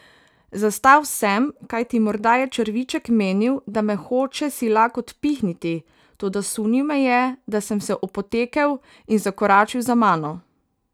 Zastal sem, kajti morda je črviček menil, da me hoče silak odpihniti, toda sunil me je, da sem se opotekel, in zakoračil za mano.